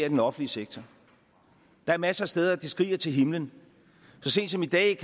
i den offentlige sektor der er masser af steder hvor det skriger til himlen så sent som i dag